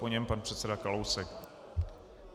Po něm pan předseda Kalousek.